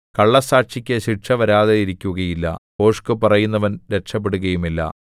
കള്ളസ്സാക്ഷിക്ക് ശിക്ഷ വരാതിരിക്കുകയില്ല ഭോഷ്ക്ക് പറയുന്നവൻ രക്ഷപെടുകയുമില്ല